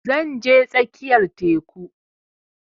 Zan je tsakiyar teku